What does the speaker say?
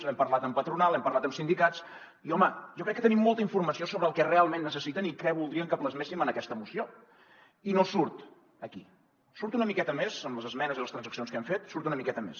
hem parlat amb patronal hem parlat amb sindicats i home jo crec que tenim molta informació sobre el que realment necessiten i què voldrien que plasméssim en aquesta moció i no surt aquí surt una miqueta més en les esmenes i les transaccions que hem fet surt una miqueta més